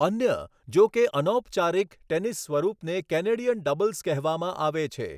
અન્ય, જો કે અનૌપચારિક, ટેનિસ સ્વરૂપને કેનેડિયન ડબલ્સ કહેવામાં આવે છે.